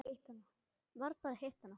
Varð bara að hitta hana.